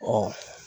Ɔ